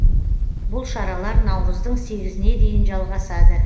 бұл шаралар наурыздың сегізіне дейін жалғасады